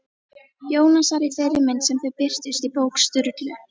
Jónasar í þeirri mynd sem þau birtust í bók Sturlu?